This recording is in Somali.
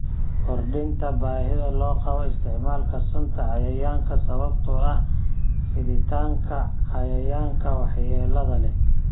Kordhinta baahida loo qabo isticmaalka sunta cayayaanka sababtoo ah fiditaanka cayayaanka waxyeelada leh.